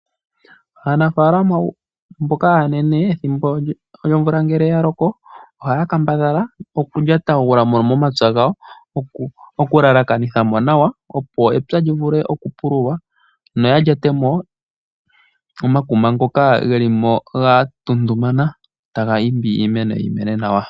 Aanafalama mboka aanene ethimbo lyomvula ngele ya loko oha ya kambadhala okulyatagulamo momapya gawo okulalakanithamo nawa opo epya lyi vule okupululwa noya lyatemo omakuma ngoka ge limo ga ntuntumana taga imbi iimeno yi mene nawa.